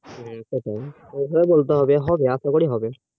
হ্যাঁ বলতে হবে হবে